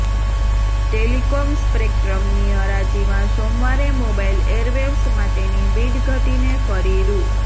telecom સ્પેક્ટ્રમની હરાજીમાં સોમવારે મોબાઇલ એરવેવ્સ માટેની બિડ ઘટીને ફરી રૂ